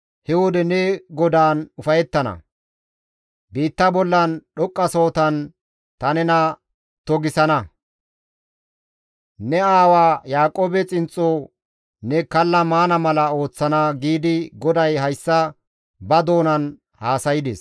he wode ne GODAAN ufayettana. Biitta bollan dhoqqasohotan ta nena togisana; ne aawa Yaaqoobe xinxxo ne kalla maana mala ooththana» giidi GODAY hayssa ba doonan haasaydes.